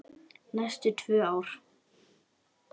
Næstum tvö ár!